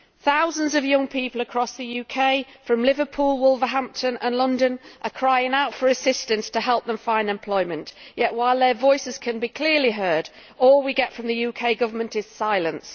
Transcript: Thousands of young people across the UK from Liverpool to Wolverhampton to London are crying out for assistance to help them find employment, yet while their voices can be clearly heard all we get from the UK Government is silence.